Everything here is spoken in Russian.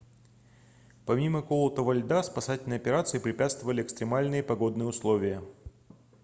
помимо колотого льда спасательной операции препятствовали экстремальные погодные условия